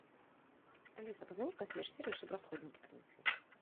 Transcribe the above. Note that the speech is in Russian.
алиса позвони в консьерж сервис чтобы расходники принесли